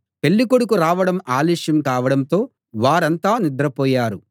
పెళ్ళికొడుకు రావడం ఆలస్యం కావడంతో వారంతా నిద్రపోయారు